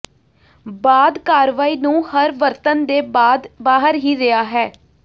ਬਾਅਦ ਕਾਰਵਾਈ ਨੂੰ ਹਰ ਵਰਤਣ ਦੇ ਬਾਅਦ ਬਾਹਰ ਹੀ ਰਿਹਾ ਹੈ